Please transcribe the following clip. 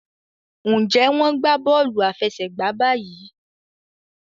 Njé wón gbà Bọ́ọ̀lù àfẹsẹ̀gbá bayi?